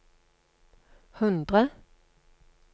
hundre